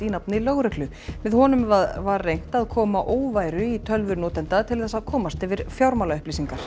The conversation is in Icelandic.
í nafni lögreglu með honum var reynt að koma óværu í tölvur notenda til þess að komast yfir